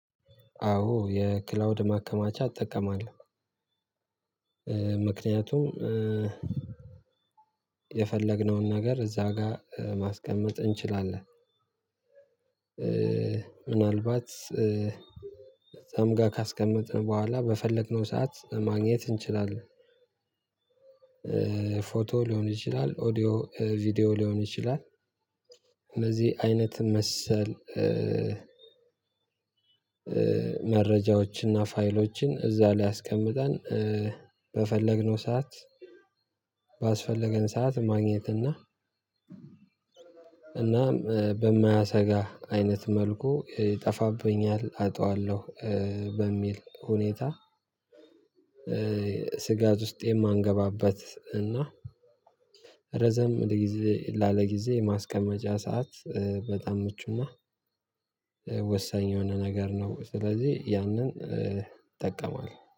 አዎ የክላውድ ማከማቻ እጠቀማለሁ። ምክንያቱም የፈለግነውን ነገር እዛ ጋር ማስቀመጥ እንችላለን። ምናልባት እዛ ጋር ካስቀመጥን በኋላ በፈለግነው ሰዓት ማግኘት እንችላለን። ፎቶ ሊሆን ይችላል ኦዲዮ ቪዲዮ ሊሆን ይችላል። እነዚህ አይነት መሰል መረጃዎችና ፋይሎችን እዛ ላይ አስቀምጠን በፈለግነው ሰዓት ባስፈለገን ሰዓት ማግኘት እና እናም በማያሰጋ አይነት መልኩ ይጠፋብኛል አጣዋለሁ። በሚል ሁኔታ። ስጋት ውስጥ የማንገባበት እና ረዘም ላለጊዜ ላለጊዜ የማስቀመጫ ሰዓት በጣም ምቹና ወሳኝ የሆነ ነገር ነው። ስለዚህ ያንን እጠቀመዋለሁ